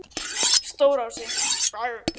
Stórási